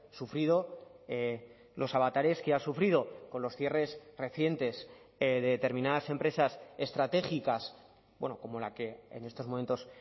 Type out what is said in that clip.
sufrido los avatares que ha sufrido con los cierres recientes de determinadas empresas estratégicas como la que en estos momentos